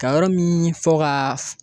Ka yɔrɔ min fɔ ka